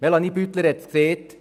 Melanie Beutler hat es erwähnt: